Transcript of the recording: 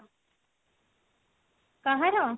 କାହାର ?